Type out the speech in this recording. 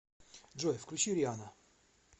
джой включи рианна